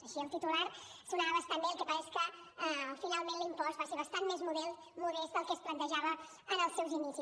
així el titular sonava bastant bé el que passa és que finalment l’impost va ser bastant més modest del que es plantejava en els seus inicis